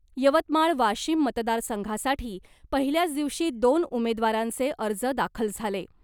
यवतमाळ वाशिम मतदारसंघासाठी पहिल्याच दिवशी दोन उमेदवारांचे अर्ज दाखल झाले .